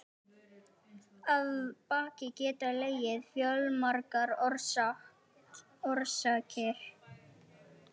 Að baki geta legið fjölmargar orsakir.